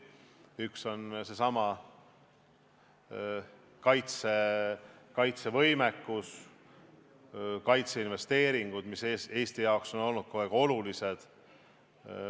Üks on kaitsevõimekus ja kaitseinvesteeringud, mis on Eesti jaoks kogu aeg olnud olulised.